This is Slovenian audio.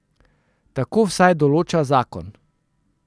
Tako vsaj določa zakon.